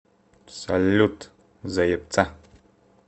салют заебца